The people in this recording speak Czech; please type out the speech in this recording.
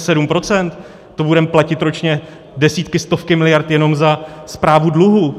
To budeme platit ročně desítky, stovky miliard jenom za správu dluhů.